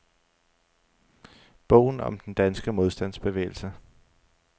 Bogen om den danske modstandsbevægelse.